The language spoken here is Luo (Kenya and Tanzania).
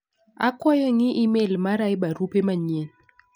Akwayo ing'i imel mara e barupe manyien.